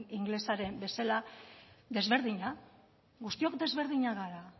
ingelesa den bezala desberdina guztiok desberdinak gara